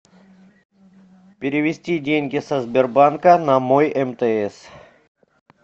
перевести деньги со сбербанка на мой мтс